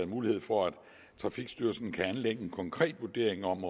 mulighed for at trafikstyrelsen kan anlægge en konkret vurdering om